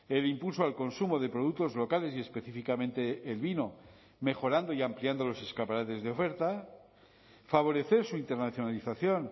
el impulso al consumo de productos locales y específicamente el vino mejorando y ampliando los escaparates de oferta favorecer su internacionalización